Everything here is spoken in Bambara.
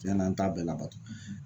Tiɲɛna n t'a bɛɛ labato